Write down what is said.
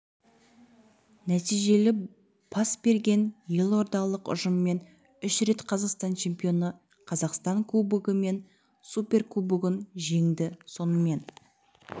нәтижелі пас берген елордалық ұжыммен үш рет қазақстан чемпионы қазақстан кубогы мен суперкубогын жеңді сонымен